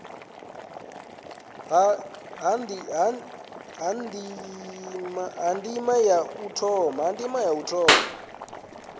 ha ndima ya u thoma